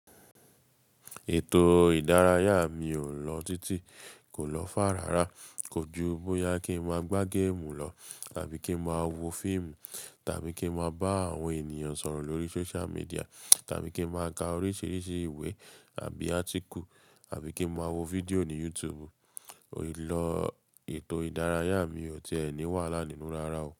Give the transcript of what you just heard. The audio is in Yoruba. Ètò ìdárayá mi ò lọ títí, kò lọ fàá ràrà, kò ju bóyá kí n máa gbá géèmù lọ tàbí kí n máa wo fíìmù tàbí kí n máa bá àwọn ènìyàn sọ̀rọ̀ lórí social media tàbí kí n máa ka oríṣiríṣi ìwé àbí article àbí kí n máa wo fídíò ní YouTube. Ì lọ ètò ìdárayá mi ò tiẹ́ ni wàhálà nínú rárá o.